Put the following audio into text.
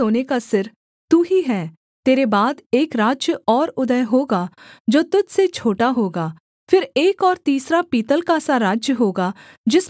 तेरे बाद एक राज्य और उदय होगा जो तुझ से छोटा होगा फिर एक और तीसरा पीतल का सा राज्य होगा जिसमें सारी पृथ्वी आ जाएगी